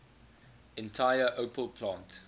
entire opel plant